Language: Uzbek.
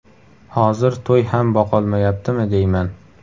Hozir to‘y ham boqolmayaptimi deyman.